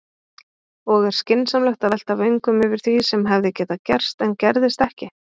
Og er skynsamlegt að velta vöngum yfir því sem hefði getað gerst en gerðist ekki?